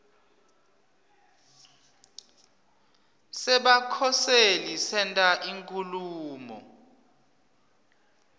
sebakhoseli senta inkhulumo